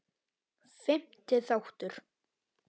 Fimmti þáttur